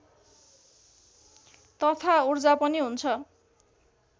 तथा ऊर्जा पनि हुन्छ